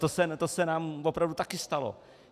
To se nám opravdu také stalo.